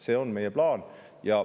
See on meie plaan.